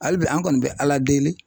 Hali bi an kɔni bɛ Ala deli